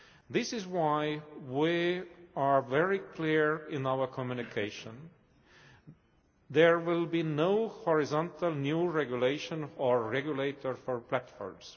This is why we are very clear in our communication there will be no horizontal new regulation or regulator for platforms.